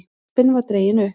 Jeppinn var dreginn upp.